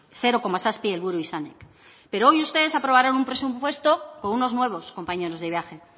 zero koma zazpi helburu izanik pero hoy ustedes aprobarán un presupuesto con unos nuevos compañeros de viaje